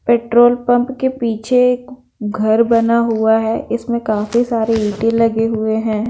Petrol pump के पीछे एक घर बना हुआ हैं इसमें काफी सारे ईटे लगे हुए हैं।